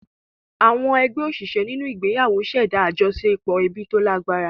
Àwọn ẹgbẹ́ òṣìṣẹ́ nínú ìgbéyàwó ṣẹ̀dá àjọṣepọ̀ ẹbí tó lágbára.